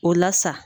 O la sa